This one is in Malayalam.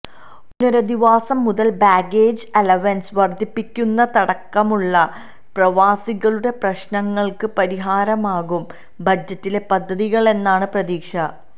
പുനരധിവാസം മുതല് ബാഗേജ് അലവന്സ് വര്ധിപ്പിക്കുന്നതടക്കമുള്ള പ്രവാസികളുടെ പ്രശ്നങ്ങള്ക്ക് പരിഹാരമാകും ബജറ്റിലെ പദ്ധതികളെന്നാണ് പ്രതീക്ഷ